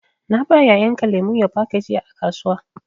Na ba yayan ka lemu ya baka jiya a kasuwa.